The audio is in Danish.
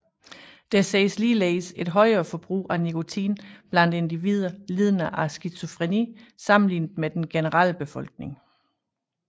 Der ses ligeledes et højere forbrug af nikotin blandt individer lidende af skizofreni sammenlignet med den generelle befolkning